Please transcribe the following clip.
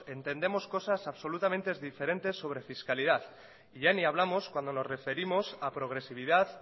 entendemos cosas absolutamente diferentes sobre fiscalidad y ya ni hablamos cuando nos referimos a progresividad